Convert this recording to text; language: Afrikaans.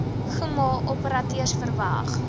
kmmo operateurs vervang